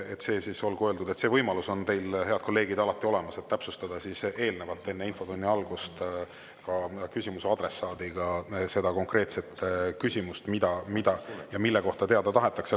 Nii et olgu öeldud, et teil, head kolleegid, on alati olemas võimalus enne infotunni algust küsimuse adressaadiga täpsustada, mida ja mille kohta konkreetselt teada tahetakse.